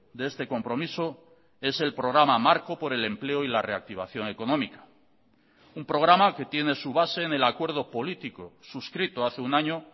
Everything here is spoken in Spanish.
de este compromiso es el programa marco por el empleo y la reactivación económica un programa que tiene su base en el acuerdo político suscrito hace un año